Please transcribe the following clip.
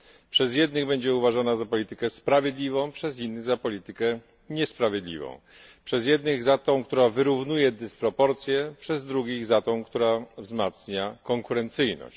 Przez jednych będzie uważana za politykę sprawiedliwą, przez innych za politykę niesprawiedliwą. Przez jednych za tą, która wyrównuje dysproporcje, przez drugich za tą, która wzmacnia konkurencyjność.